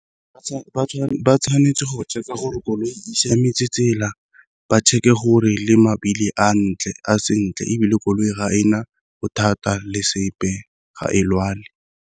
Ba tshwanetse go check-a gore koloi e siametse tsela, ba check-e gore le mabili a sentle ebile koloi ga ena go thata le sepe ga e lwale.